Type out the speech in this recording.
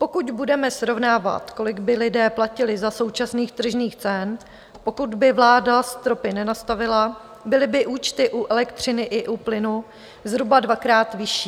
Pokud budeme srovnávat, kolik by lidé platili za současných tržních cen, pokud by vláda stropy nenastavila, byly by účty u elektřiny i u plynu zhruba dvakrát vyšší.